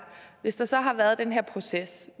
hvis der så har været den her proces